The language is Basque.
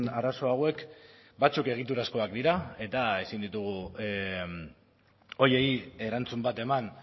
arazo hauek batzuk egiturazkoak dira eta ezin ditugu horiei erantzun bat eman